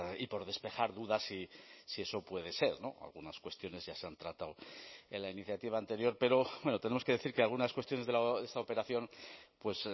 y por despejar dudas si eso puede ser algunas cuestiones ya se han tratado en la iniciativa anterior pero tenemos que decir que algunas cuestiones de esta operación pues